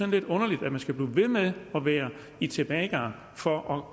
lidt underligt at man skal blive ved med at være i tilbagegang for at